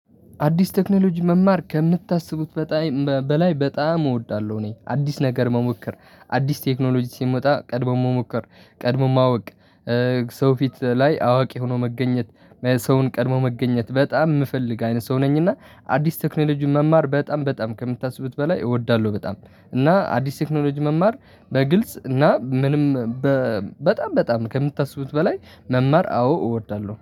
አዲስ ቴክኖሎጂ መማር ከምታስቡት በላይ በጣም እወዳለሁ። እኔ አዲስ ነገር መሞከር አዲስ ቴክኖሎጂ ሲመጣ ቀድሞ መሞከር ቀድሞ ማወቅ። ሰው ፊት ላይ አዋቂ ሆኖ መገኘት። ሰውን ቀድሞ መገኘት በጣም የምፈልግ አይነት ሰው ነኝና አዲስ ቴክኖሎጂን መማር በጣም በጣም ከምታስቡት በላይ እወዳለሁ በጣም። እና አዲስ ቴክኖሎጂ መማር በግልጽ እና ምንም በ በጣም በጣም ከምታስቡት በላይ መማር አዎ እወዳለሁ